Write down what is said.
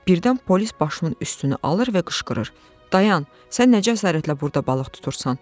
Birdən polis başımın üstünü alır və qışqırır: Dayan, sən nə cəsarətlə burda balıq tutursan?